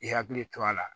I hakili to a la